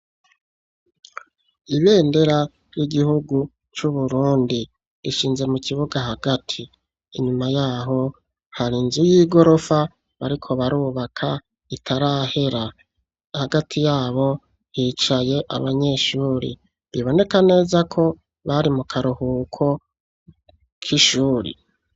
Ibendera ry'igihugu c'Uburundi, rishinze mu kibuga hagati; inyuma y'aho hari inzu y'igorofa, bariko barubaka itarahera, hagati y'abo hicaye abanyeshuri, biboneka neza ko, bari mu karuhuko k'ishuri.